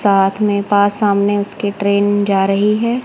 साथ में पास सामने उसके ट्रेन जा रही हैं।